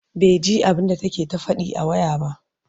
baiji abunda take ta Faɗi a waya ba